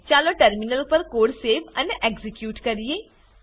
ચાલો ટર્મિનલ પર code save અને એક્ઝીક્યુટ કરીએ